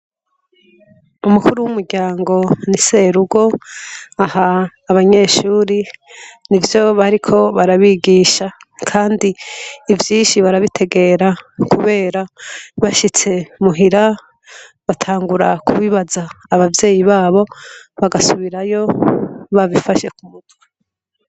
Umukuru wumuryango ni serugo aha abanyeshuri nivyo bariko barabigisha kandi ivyinshi barabitegera kubera bishitse muhira batangura kubibaza abavyeyi babo bagasubirayo babifashe kumutwe